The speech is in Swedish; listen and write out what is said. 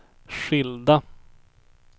skilda